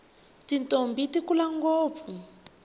tintombhi ti kula ngopfu